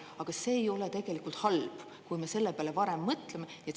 Aga see ei ole tegelikult halb, kui me selle peale varem mõtleme.